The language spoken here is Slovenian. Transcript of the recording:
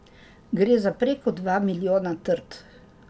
Gre za preko dva milijona trt.